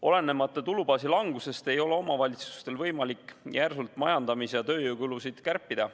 Olenemata tulubaasi langusest ei ole omavalitsustel võimalik järsult majandamis‑ ja tööjõukulusid kärpida.